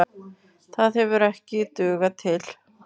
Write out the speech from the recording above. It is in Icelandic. Það hefur ekki dugað til.